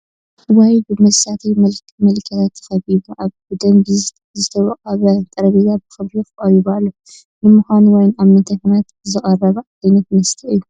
ዋይን ብመሳተዪ መለክያታቱ ተኸቢቡ ኣብ ብደንቢ ዝወቀበ ጠረጴዛ ብኽብሪ ቀሪቡ ኣሎ፡፡ ንምዃኑ ዋይን ኣብ ምንታይ ኩነታት ዝቐርብ ዓይነ መስተ እዩ?